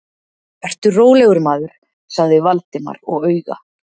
Vertu rólegur, maður- sagði Valdimar og auga